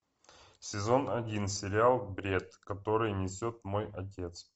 сезон один сериал бред который несет мой отец